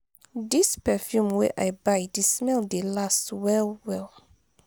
dis perfume wey i buy di smell dey last well-well.